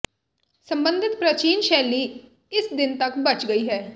ਸੰਬੰਧਿਤ ਪ੍ਰਾਚੀਨ ਸ਼ੈਲੀ ਇਸ ਦਿਨ ਤੱਕ ਬਚ ਗਈ ਹੈ